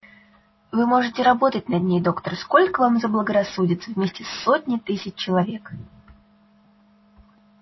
вы можете работать на ней доктор сколько вам заблагорассудится вместе с сотней тысяч человек